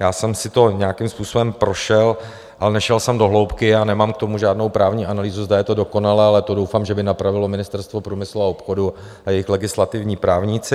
Já jsem si to nějakým způsobem prošel, ale nešel jsem do hloubky a nemám k tomu žádnou právní analýzu, zda je to dokonalé, ale to doufám, že by napravilo Ministerstvo průmyslu a obchodu a jejich legislativní právníci.